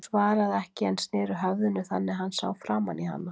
Hún svaraði ekki en sneri höfðinu þannig að hann sá framan í hana.